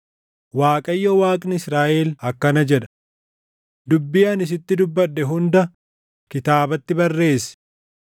“ Waaqayyo Waaqni Israaʼel akkana jedha: ‘Dubbii ani sitti dubbadhe hunda kitaabatti barreessi.